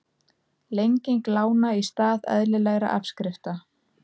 Lenging lána í stað eðlilegra afskrifta